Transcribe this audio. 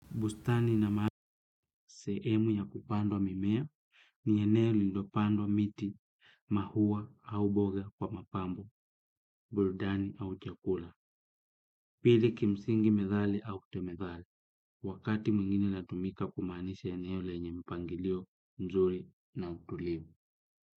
Bustani ina maana sehemu ya kupandwa mimea iliyopandwa miti maua au boga kwa mapambo burudani au chakula. Pili kimsingi methali au kutemethali, wakati mwingine inatumika kumaanisha eneo lenye mpangilio mzuri na utulivu.